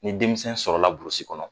Ni denmisɛnw sɔrɔla burusi kɔnɔ